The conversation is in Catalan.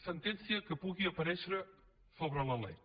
sentència que pugui aparèixer sobre la lec